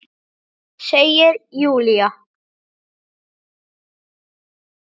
Segir Júlía.